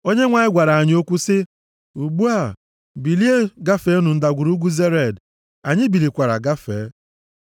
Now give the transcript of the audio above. Onyenwe anyị gwara anyị okwu sị, “Ugbu a bilienụ, gafee Ndagwurugwu Zered.” Anyị bilikwara gafee.